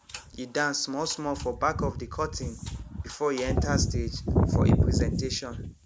e dance small small for back of de curtain before e enter stage for e presentation